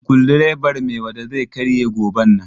Sukudireban Maiwada zai karye goben nan.